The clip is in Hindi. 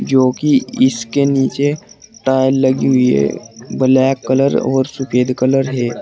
जोकि इसके नीचे टाइल लगी हुई है ब्लैक कलर और सफेद कलर है।